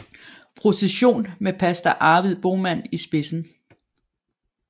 Procession med pastor Arvid Boman i spidsen